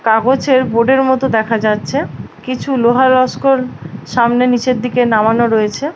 কাগজের বোর্ডের মতো দেখা যাচ্ছে। কিছু লোহা লস্কর সামনে নিচের দিকে নামানো রয়েছে।